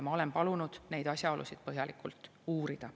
Ma olen palunud neid asjaolusid põhjalikult uurida.